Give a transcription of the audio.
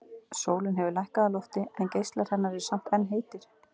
Sólin hefur lækkað á lofti en geislar hennar eru samt enn heitir.